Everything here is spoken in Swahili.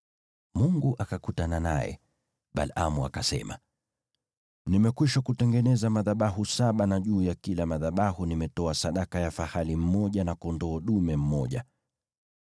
Mungu akakutana naye, kisha Balaamu akasema, “Nimekwisha kutengeneza madhabahu saba, na juu ya kila madhabahu nimetoa sadaka ya fahali mmoja na kondoo dume mmoja.”